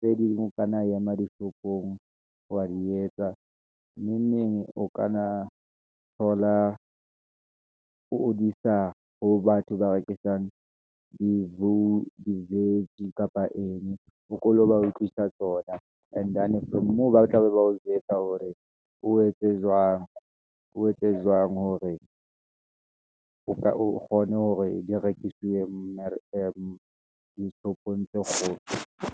tse ding o ka na ema di-shop-ong wa di etsa, neng neng. O ka na thola o disa ho batho ba rekisang di jo, di-vege kapa eng, o ko lo ba utlwisisa tsona. And-ane from moo, ba tla be ba ho jwetsa hore, o etse jwang hore o ka o kgone hore di rekiswe dishopong tse kgolo.